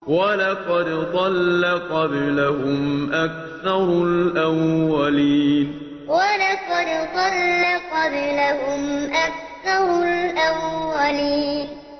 وَلَقَدْ ضَلَّ قَبْلَهُمْ أَكْثَرُ الْأَوَّلِينَ وَلَقَدْ ضَلَّ قَبْلَهُمْ أَكْثَرُ الْأَوَّلِينَ